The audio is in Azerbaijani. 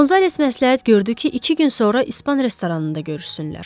Qonzales məsləhət gördü ki, iki gün sonra İspan restoranında görüşsünlər.